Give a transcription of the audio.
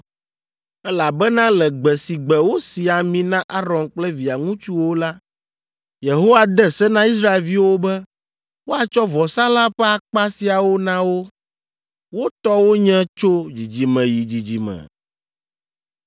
elabena le gbe si gbe wosi ami na Aron kple via ŋutsuwo la, Yehowa de se na Israelviwo be woatsɔ vɔsalã ƒe akpa siawo na wo. Wo tɔ wonye tso dzidzime yi dzidzime.